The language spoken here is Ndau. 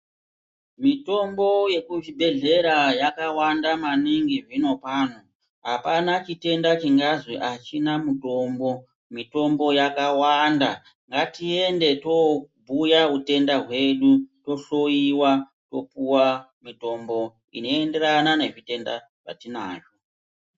Mitombo yekuchibhedhlera yakawanda maningi zvinopano apana chitenda chingazwi achina mutombo mutombo yakawanda ngatiende tobhuya utenda hwedu tohloiwa topuwa mutombo inoenderana nezvitenda zvatinazvo.